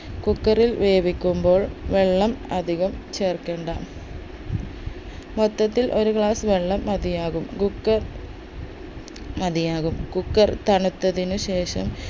cooker ൽ വേവിക്കുമ്പോൾ വെള്ളം അതികം ചേർക്കേണ്ട മൊത്തത്തിൽ ഒരു glass വെള്ളം മതിയാകും cooker മതിയാകും cooker തണുത്തതിനുശേഷം